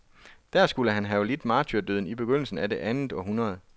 Der skulle han have lidt martyrdøden i begyndelsen af det andet århundrede.